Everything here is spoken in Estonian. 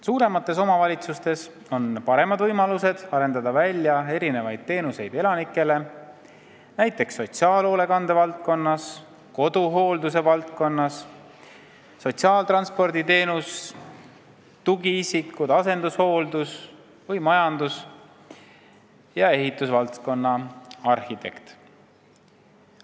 Suuremates omavalitsutes on paremad võimalused arendada elanikele välja teenuseid sotsiaalhoolekande ja koduhoolduse valdkonnas, näiteks sotsiaaltranspordi teenus, tugiisikud, asendushooldus või majandus- ja ehitusvaldkonna arhitekt.